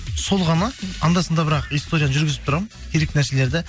сол ғана анда санда бірақ историяны жүргізіп тұрамын керек нәрселерді